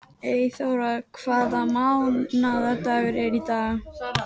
Eyþóra, hvaða mánaðardagur er í dag?